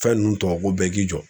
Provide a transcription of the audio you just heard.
Fɛn ninnu tɔw ko bɛɛ k'i jɔ